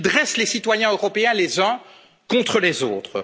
ils dressent les citoyens européens les uns contre les autres.